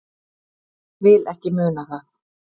Vil ekki muna það.